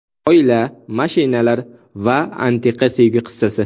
Oila, mashinalar va antiqa sevgi qissasi.